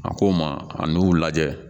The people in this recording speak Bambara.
A ko' ma an'u lajɛ